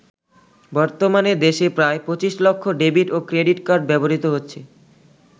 বর্তমানে দেশে প্রায় ২৫ লক্ষ ডেবিট ও ক্রেডিট কার্ড ব্যবহৃত হচ্ছে।